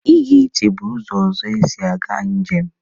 Ịga ije bụkwa ụzọ ọzọ esi aga njem.